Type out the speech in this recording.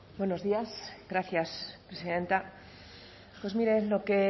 buenos días gracias presidenta pues miren lo que